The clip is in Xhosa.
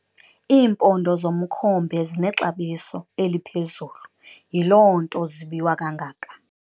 Iimpondo zomkhombe zinexabiso eliphezulu yiloo nto zibiwa kangaka.